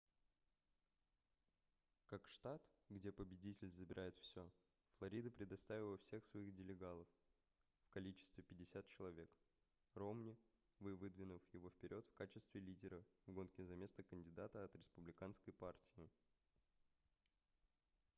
как штат где победитель забирает всё флорида предоставила всех своих делегатов в количестве 50 человек ромни выдвинув его вперёд в качестве лидера в гонке за место кандидата от республиканской партии